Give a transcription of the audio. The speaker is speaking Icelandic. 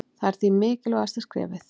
Það er því mikilvægasta skrefið.